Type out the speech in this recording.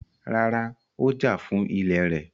Rárá, Ó jà fún ilẹ̀ rẹ̀.